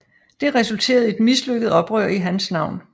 Det resulterede i et mislykket oprør i hans navn